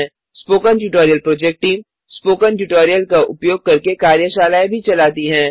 spoken tutorial project team spoken tutorial का उपयोग करके कार्यशालाएँ भी चलाती हैं